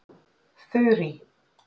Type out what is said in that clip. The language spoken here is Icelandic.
Þurý